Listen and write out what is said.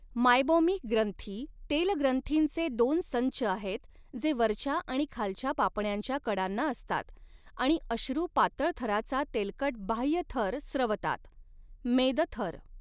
Meibomian ग्रंथी तेल ग्रंथींचे दोन संच आहेत जे वरच्या आणि खालच्या पापण्यांच्या कडांना असतात आणि अश्रू पातळथराचा तेलकट बाह्य थर स्रवतात, मेद थर.